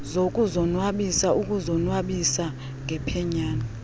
zokuzonwabisa ukuzonwabisa ngephenyane